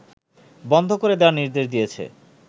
বন্ধ করে দেয়ার নির্দেশ দিয়েছে